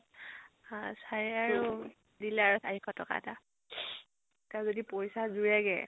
sir এ আৰু দিলে আৰু চাৰি শ টকা এটা। তাৰ যদি পইছা যোৰেগে